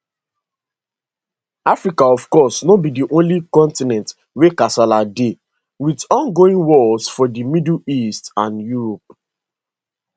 africa of course no be di only continent wia kasala dey wit ongoing wars for di middle east and europe